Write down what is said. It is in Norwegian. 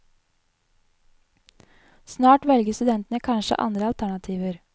Snart velger studentene kanskje andre alternativer.